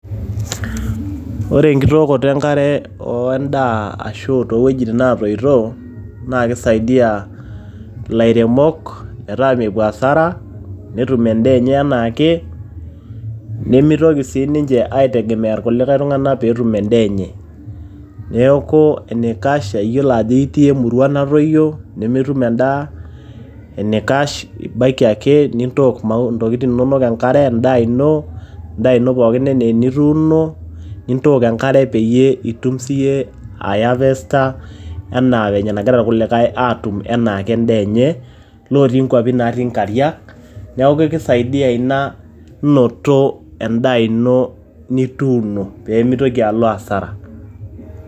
ore enkitookoto enkare endaa towuejitin netoito naa kisaidia illairemok metaa mepuo hasara ,netum endaa enye anaake ,nemitoki siniche aitegemea kulikae tunganak petum endaa enye. neku enikash iyiolo ajo itii emurua natoyio nemetum endaa .enikash ibaiki ake nintook ntokiti inonok enkare endaa ,endaa ino pookin anaa enituuno nintook enkare peyie itum sii yie aehharvester enaa venye nagira irkulikae atum enaake endaa enye netii kwapi natii nkariak .niaku kisaidia ina inoto endaa ino nituuno pemitoki alo asara.